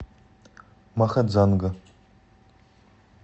махадзанга